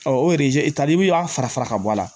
o tali y'a fara fara ka bɔ a la